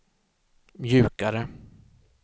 mjukare